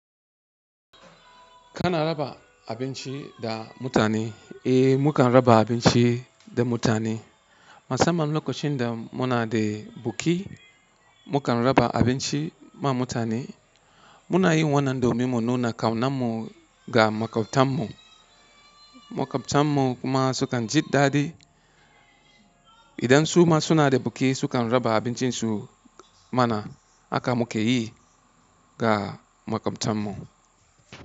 Kana raba abinci ga mutane? Eh, mukan raba abinci da mutane. Musamman lokacin da muna da buki, mukan raba abinci ma mutane. Munayin wannan domin mu nuna kaunarmu ga makwabtan mu. Makwabtanmu kuma sukan ji daɗi. Idan suma sunada buki, sukan raba abincinsu mana. Haka mukeyi ga makwabtanmu.